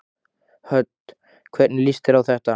Hödd: Hvernig líst þér á þetta?